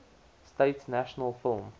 states national film